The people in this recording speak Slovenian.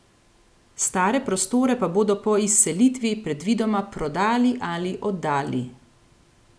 Stare prostore pa bodo po izselitvi predvidoma prodali ali oddali.